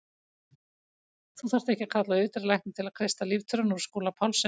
Nú þarf ekki að kalla á yfirdýralækni til að kreista líftóruna úr Skúla Pálssyni.